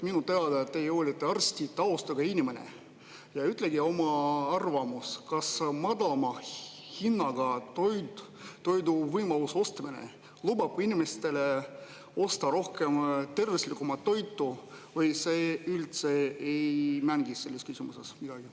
Minu teada teie olete arsti taustaga inimene ja öelge oma arvamus, kas madalama hinnaga toidu ostmise võimalus lubab inimestele osta rohkem tervislikumat toitu või see üldse ei mängi selles küsimuses midagi.